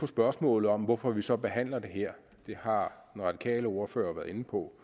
spørgsmålet om hvorfor vi så behandler det her har den radikale ordfører været inde på